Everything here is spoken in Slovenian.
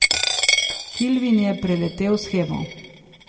Kilvin je preletel shemo.